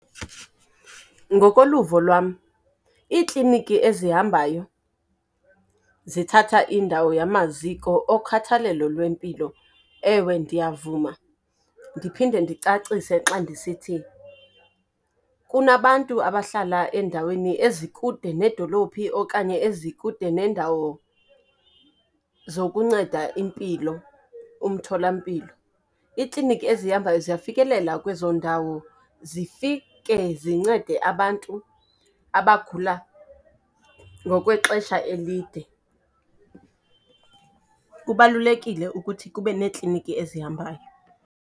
Ngokoluvo lwam, iikliniki ezihambayo zithatha indawo yamaziko okhathalelo lwempilo. Ewe ndiyavuma, ndiphinde ndicacise xa ndisithi, kunabantu abahlala endaweni ezikude needolophi, okanye ezikude neendawo zokunceda impilo, umthola mpilo. Iikliniki ezihambayo ziyafikelela kwezo ndawo zifike zincede abantu abagula ngokwexesha elide. Kubalulekile ukuthi kube neekliniki ezihambayo.